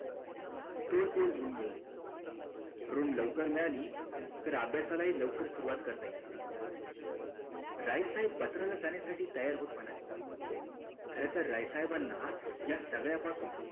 तोच देईल room मिळवुन room लवकर मिळाली तर अभ्यासाला हि लवकर सुरवात करता येईल राय साहेब बत्रा ला जाण्यासाठी तयार होत म्हणाले खरतर राय साहेबाना ह्या सगळ्या पासून